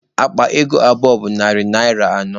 Akpa ego abụọ bụ narị naịra anọ.